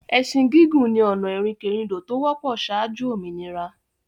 Ẹsin gigun ni ọ̀nà ìrìnkèrindò to wọ́pọ̀ saájú òmìnira.